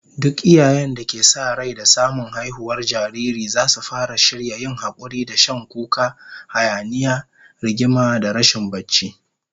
Duk iyayen da ke sa rai da samun haihuwar jariri zasu fara shirya yin hakuri da shan kuka, hayaniya, rigima da rashin barci